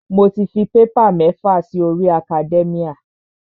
Mo ti fi paper mẹ́fà si orí academia.